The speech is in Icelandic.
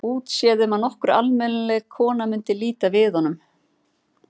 Útséð um að nokkur almennileg kona mundi líta við honum.